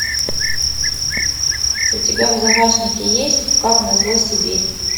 у тебя в загашнике есть как назло сибирь